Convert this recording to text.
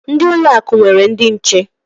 Ndị ụlọ akụ nwere ndị nche.